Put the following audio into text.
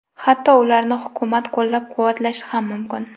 Hatto ularni hukumat qo‘llab-quvvatlashi ham mumkin.